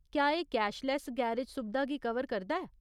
क्या एह् cashless garage सुबधा गी कवर करदा ऐ?